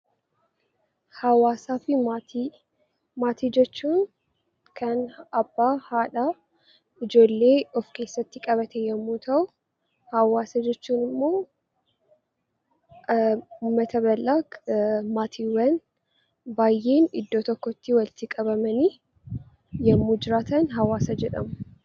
Maatii jechuun kan abbaa, haadha, ijoollee of keessatti qabate yommuu ta'u, hawaasa jechuun immoo uummata bal'aa kan maatiiwwan baay'een iddoo tokkotti walitti qabamanii yommuu jiraatan hawaasa jedhamu.